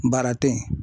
Baara tɛ ye